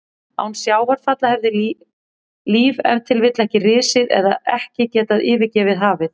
Án sjávarfalla hefði líf ef til vill ekki risið eða ekki getað yfirgefið hafið.